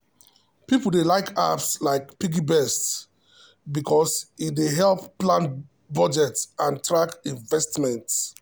people dey like apps like piggyvest because e dey help plan budget and track investment.